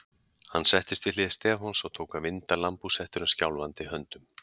Hann settist við hlið Stefáns og tók að vinda lambhúshettuna skjálfandi höndum.